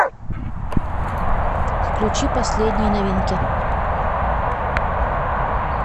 включи последние новинки